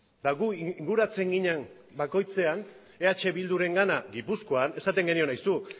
eta gu inguratzen ginen bakoitzean eh bildurengana gipuzkoan esaten genion aizu